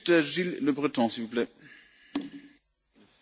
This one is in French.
Monsieur le Président, la Turquie est notre voisin.